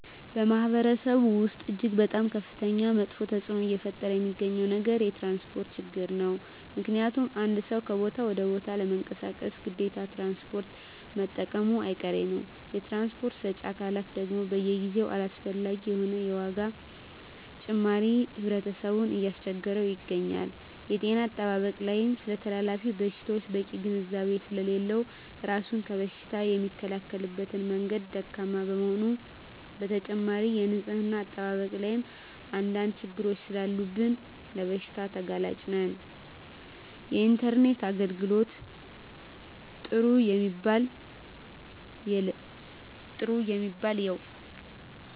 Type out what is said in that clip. በማህበረሰቡ ወስጥ እጅግ በጣም ከፍተኛ መጥፌ ተፅዕኖ እየፈጠረ የሚገኘው ነገር የትራንስፖርት ችግር ነው ምክንያቱም አንድ ሰው ከቦታ ወደ ቦታ ለመንቀሳቀስ ግዴታ ትራንስፖርት መጠቀሙጨ አይቀሬ ነው የትራንስፖርት ሰጪ አካላት ደግም በየጊዜው አላስፈላጊ የሆነ የዋጋ ጭማሪ ህብረተሰብን እያስቸገረ ይገኛል። የጤና አጠባበቅ ላይም ስለተላላፊ በሽታወች በቂ ግንዛቤ ስሌለለው እራሱን ከበሽታ የሚከላከልበት መንገድ ደካማ በመሆኑ በተጨማሪም የንፅህና አጠባበቅ ላይም አንድ አንድ ችግሮች ሰላሉብን ለበሽታ ተጋላጭ ነን። የኢንተርኔት የአገልግሎት ጥሩ የሚባል የው።